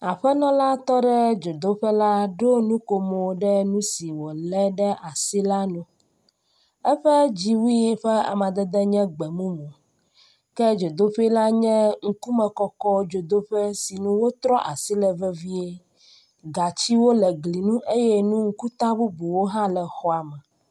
Aƒenɔ la tɔ ɖe dzodoƒe la ɖo nukomo ɖe nu si wo le ɖe asi la nu. eƒe dziwui ƒe amadede nye gbemumu ke dzodoƒe la nye ŋkumekɔkɔ dzodoƒe si nu wotrɔ asi le vevie. Gatsiwo le gli nu eye nu ŋkuta bubuwo le xɔa me.